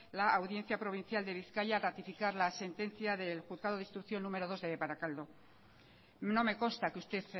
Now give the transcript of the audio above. la audiencia provincial de bizkaia al ratificar la sentencia del juzgado de instrucción número dos de barakaldo no me consta que usted